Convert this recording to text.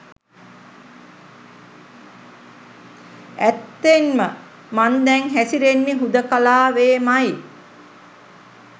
ඇත්තෙන්ම මං දැන් හැසිරෙන්නේ හුදෙකලාවේමයි.